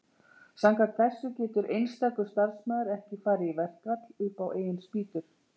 Samkvæmt þessu getur einstakur starfsmaður ekki farið í verkfall upp á eigin spýtur.